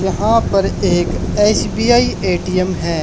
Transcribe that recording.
यहां पर एक एस_बी_आई ए_टी_एम है।